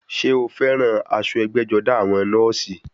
Ṣé o fẹ́ran aṣọ ẹgbẹ́-jọdá àwọn nọ́ọ̀sì?